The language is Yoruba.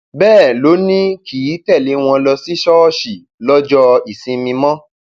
bẹẹ ló ní kì í tẹlé wọn ló sì ṣọọṣì lọjọ ìsinmi mọ